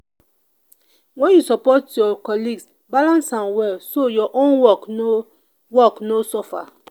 when you support your colleague balance am well so your own work no work no suffer.